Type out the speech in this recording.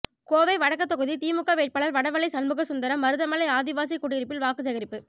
கோவை வடக்கு தொகுதி திமுக வேட்பாளர் வடவள்ளி சண்முக சுந்தரம் மருதமலை ஆதிவாசி குடியிருப்பில் வாக்குசேகரிப்பு